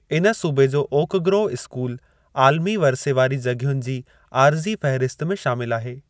इन सूबे जो ओक ग्रोव स्कूल आलिमी विरसे वारी जॻहियुनि जी आर्ज़ी फ़हिरिस्त में शामिल आहे।